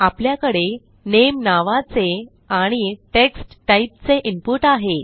आपल्याकडे नामे नावाचे आणि टेक्स्ट टाईपचे इनपुट आहे